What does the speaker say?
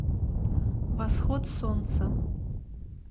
восход солнца